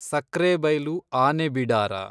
Sakrebailu ಆನೆಬಿಡಾರ